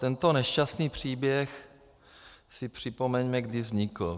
Tento nešťastný příběh si připomeňme, kdy vznikl.